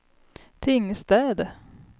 Tingstäde